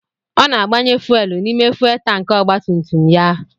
Ọ na-agbanye fuuel n'ime fuuel tankị ọgbatumtum ya.